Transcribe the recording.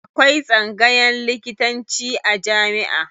Akwai tsangayan likitanci a jamiʼa.